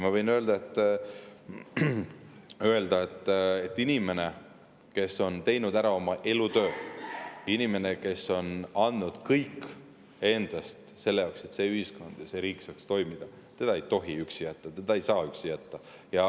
Ma võin öelda, et inimest, kes on teinud ära oma elutöö, inimest, kes on andnud kõik endast selleks, et see ühiskond ja riik saaksid toimida, ei tohi üksi jätta, teda ei saa üksi jätta.